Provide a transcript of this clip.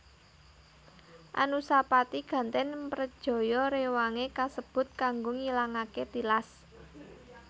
Anusapati gantèn mrejaya rewangé kasebut kanggo ngilangaké tilas